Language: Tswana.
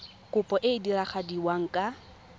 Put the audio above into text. kopo e e diragadiwa ka